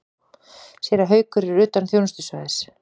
Séra Haukur er utan þjónustusvæðis.